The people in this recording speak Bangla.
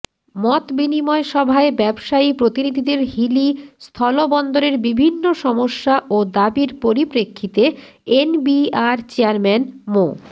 মতবিনিময় সভায় ব্যবসায়ী প্রতিনিধিদের হিলি স্থলবন্দরের বিভিন্ন সমস্যা ও দাবির পরিপ্রেক্ষিতে এনবিআর চেয়ারম্যান মো